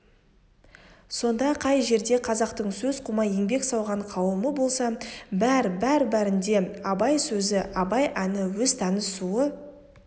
сонда қай жерде қазақтың сөз қумай еңбек сауған қауымы болса бәр-бәрінде абай сөзі абай әні өз тәні суы